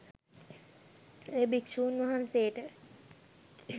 එය භික්ෂූන් වහන්සේට